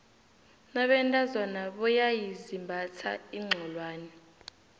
nabentazona boyaizimbatha iinxholwane